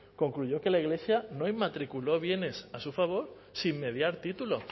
concluyó que la iglesia no inmatriculó bienes a su favor sin mediar título